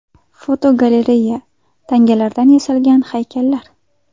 Fotogalereya: Tangalardan yasalgan haykallar.